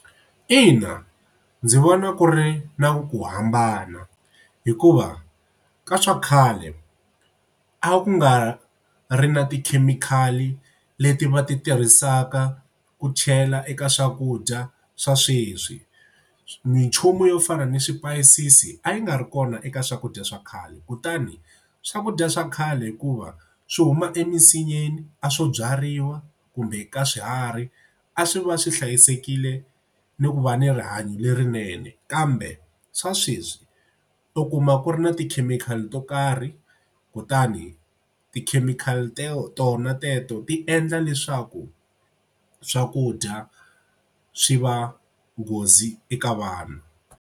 Ina, ndzi vona ku ri na ku hambana hikuva ka swa khale a ku nga ri na tikhemikhali leti va ti tirhisaka ku chela eka swakudya swa sweswi. Minchumu yo fana ni swipayisisi a yi nga ri kona eka swakudya swa khale kutani swakudya swa khale hikuva swi huma emisinyeni a swo byariwa kumbe ka swiharhi a swi va swi hlayisekile ni ku va ni rihanyo lerinene kambe swa sweswi u kuma ku ri na tikhemikhali to karhi kutani tikhemikhali tona teto ti endla leswaku swakudya swi va nghozi eka vanhu.